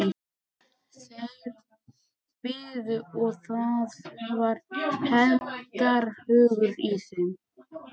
Þeir biðu og það var hefndarhugur í þeim.